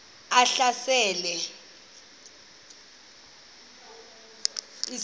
ehlasela echitha izizwe